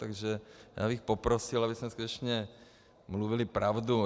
Takže já bych poprosil, abychom skutečně mluvili pravdu.